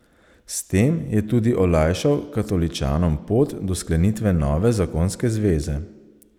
S tem je tudi olajšal katoličanom pot do sklenitve nove zakonske zveze.